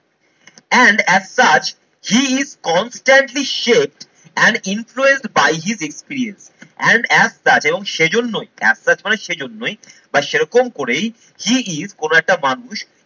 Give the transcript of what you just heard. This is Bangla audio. and as such he is constantly shape and influence by his experience and as such এবং সেজন্যই as such মানে সেজন্যই বা সেরকম করেই he is কোনো একটা মানুষ